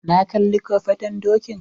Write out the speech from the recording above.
Na kalli kofaton dokin